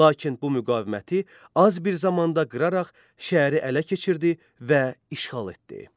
Lakin bu müqaviməti az bir zamanda qıraraq şəhəri ələ keçirdi və işğal etdi.